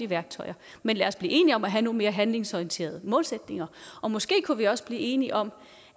værktøjerne men lad os blive enige om at have nogle mere handlingsorienterede målsætninger og måske kunne vi også blive enige om